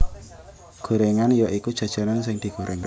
Gorengan ya iku jajanan sing digoreng